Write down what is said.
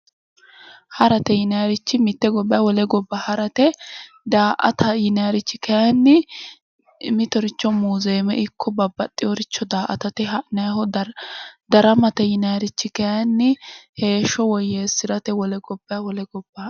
Harate yinaayiirichi mitte gobbayi wole gobba harate. Daa"ata yinaayiirichi kaayiinni mitoricho muuzeeme ikko babbaxxewooricho daa"atate ha'nayiiho. daramate yinaayiirichi kaayiinni heeshsho woyyeessirate wole gobbayi wole gobba..